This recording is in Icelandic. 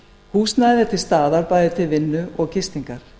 húsnæði er til staðar bæði til vinnu og gistingar